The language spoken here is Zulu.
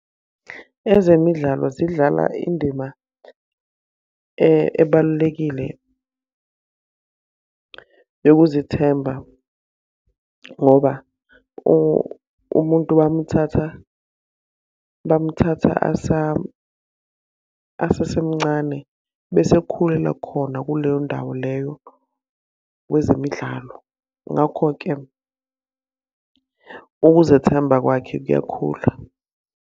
Ezemidlalo zidlala indima ebalulekile yokuzithemba ngoba umuntu bamuthatha, bamthatha asesemncane, bese ekhulela khona kuleyo ndawo leyo kwezemidlalo. Ngakho-ke ukuzethemba kwakhe kuyakhula.